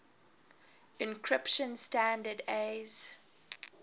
encryption standard aes